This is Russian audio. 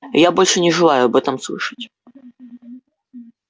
и я больше не желаю об этом слышать